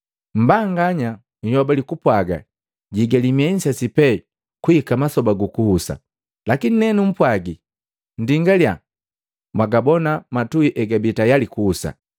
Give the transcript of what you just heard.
Mmbanganya uyobali kupwaga, ‘Jihigali miehi nsese pee kuhika masoba gukuhusa.’ Lakini nenupwagi, nndingaliya mwagabona matuhi egabii tayali kuhusa!